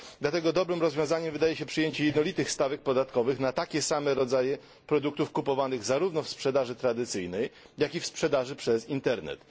Dlatego dobrym rozwiązaniem wydaje się przyjęcie jednolitych stawek podatkowych na takie same rodzaje produktów kupowanych zarówno w sprzedaży tradycyjnej, jak i w sprzedaży przez internet.